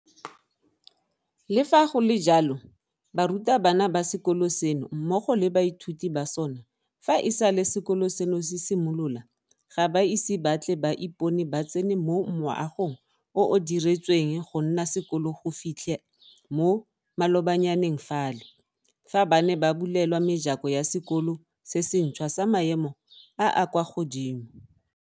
Le fa go le jalo, barutabana ba sekolo seno mmogo le baithuti ba sona fa e sale sekolo seno se simolola ga ba ise ba tle ba ipone ba tsena mo moagong o o diretsweng gonna sekolo go fitlha mo malobanyaneng fale, fa bane ba bulelwa mejako ya sekolo se sentšhwa sa maemo a a kwa godimo.